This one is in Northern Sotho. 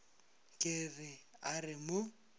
ke re a re mo